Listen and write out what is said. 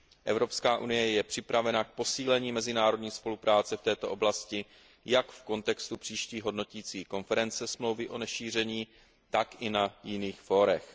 Evropská unie je připravena k posílení mezinárodní spolupráce v této oblasti jak v kontextu příští hodnotící konference Smlouvy o nešíření, tak i na jiných fórech.